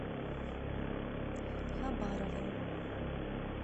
хабаровым